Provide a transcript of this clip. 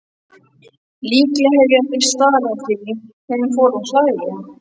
Líklega hef ég starað því hún fór að hlæja.